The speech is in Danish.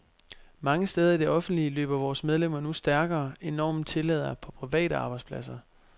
Mange steder i det offentlige løber vores medlemmer nu stærkere, end normen tillader på private arbejdspladser.